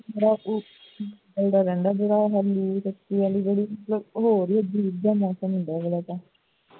ਹੂਦਾ ਰਹਿੰਦਾ ਹੈ ਬੁਰਾ ਹਾਲ ਨਹੀਂ ਤੇ ਬੜਾ ਹੀ ਹੋਰ ਹੀ ਤਰ੍ਹਾਂ ਦਾ ਮੌਸਮ ਹੁੰਦਾ ਰਹਿੰਦਾ ਹੈ